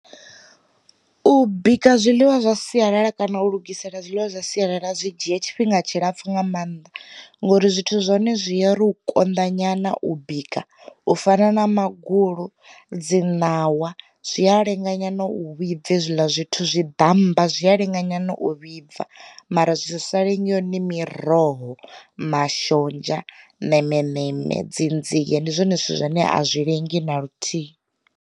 U bika zwiḽiwa zwa sialala kana u lugisela zwiḽiwa zwa sialala zwi dzhie tshifhinga tshilapfu nga maanḓa ngori zwithu zwa hone zwi uri u konḓa nyana u bika u fana na magulu, dzi ṋawa, zwi a lenga nyana u vhibva hezwiḽa zwithu zwi ḓamba zwi a lenga nyana u vhibva mara zwi sa lengi hone miroho, mashonzha, ṋemeṋeme, dzi nzie, ndi zwone zwithu zwine a zwi lengi na luthihi.